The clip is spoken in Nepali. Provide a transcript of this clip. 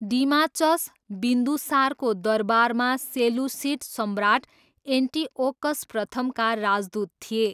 डिमाचस, बिन्दुसारको दरबारमा सेलुसिड सम्राट एन्टिओकस प्रथमका राजदूत थिए।